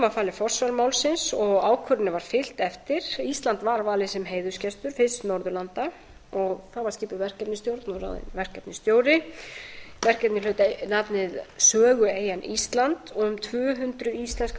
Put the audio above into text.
var falið forsvar málsins og ákvörðuninni var fylgt eftir ísland var valið sem heiðursgestur fyrst norðurlanda og þá var skipuð verkefnisstjórn og ráðinn verkefnisstjóri verkefnið hlaut nafnið sögueyjan ísland og um tvö hundruð íslenskar